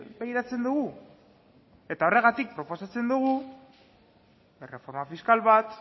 begiratzen dugu horregatik proposatzen dugu erreforma fiskal bat